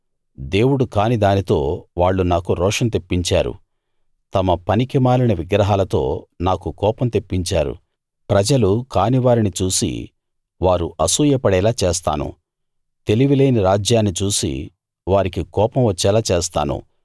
దేవుడు కాని దానితో వాళ్ళు నాకు రోషం తెప్పించారు తమ పనికిమాలిన విగ్రహాలతో నాకు కోపం తెప్పించారు ప్రజలు కాని వారిని చూసి వారు అసూయ పడేలా చేస్తాను తెలివిలేని రాజ్యాన్ని చూసి వారికి కోపం వచ్చేలా చేస్తాను